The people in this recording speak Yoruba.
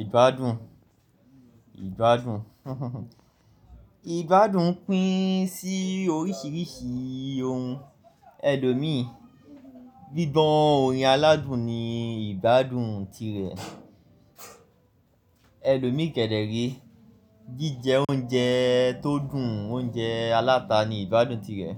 Ìgbádùn, ìgbádùn. Ìgbádùn pín sí oríṣìíríṣìí ohun. Ẹlòmi, gbígbọ̀ orin aládùn ni ìgbádùn tirẹ̀. Ẹlomi kẹ̀dẹ̀ re, jijẹ oúnjẹ tó dùn, oúnjẹ aláta ni ìgbádùn tirẹ̀.